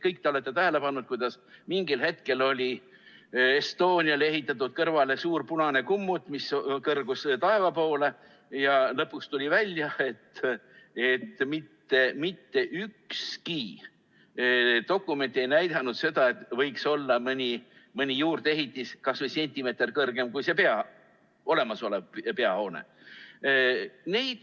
Kõik te olete tähele pannud, kuidas mingil hetkel oli Estonia kõrvale ehitatud suur punane kummut, mis kõrgus taeva poole, aga lõpuks tuli välja, et mitte ükski dokument ei näidanud seda, et mõni juurdeehitis võiks olla kas või sentimeeter kõrgem kui olemasolev peahoone.